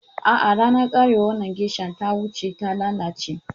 A'a, ranar karewar wannan geisha ta wuce, ta lalace.